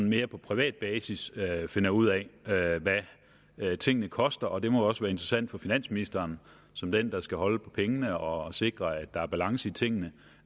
mere på privat basis finder ud af hvad tingene koster det må også være interessant for finansministeren som den der skal holde på pengene og sikre at der er balance i tingene